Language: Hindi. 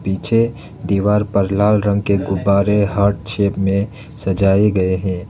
पीछे दीवार पर लाल रंग के गुब्बारे हार्ट शेप में सजाए गए हैं।